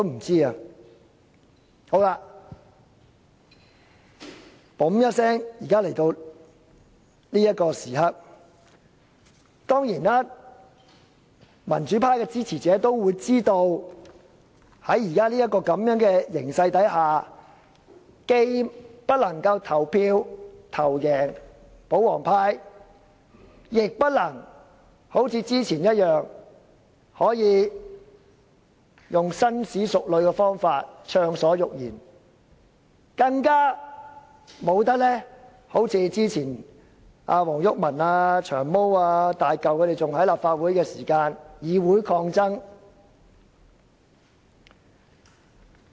轉眼來到這個時刻，民主派的支持者當然知道在現時的形勢下，票數既不夠保皇派多，亦不能好像之前一般，以紳士淑女的方式暢所欲言，更不能一如前議員黃毓民、"長毛"、"大嚿"仍服務立法會的時候那樣，進行議會抗爭。